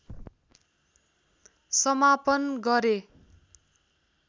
समापन गरे